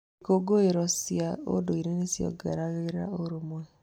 Ikũngũĩro cia ũndũire nĩ ciongereraga ũrũmwe.